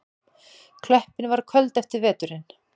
Klöppin var köld eftir veturinn.